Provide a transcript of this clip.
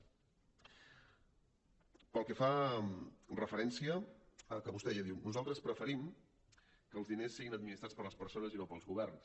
pel que fa referència al que vostè ja diu nosaltres preferim que els diners siguin administrats per les persones i no pels governs